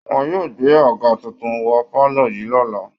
Wọ́n yóò gbé àga tuntun wọ pálọ̀ yìí lọ́la